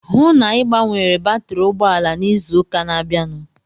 Hụụ na Ị gbanwere batri ụgbọala n'izu ụka na-abịanụ!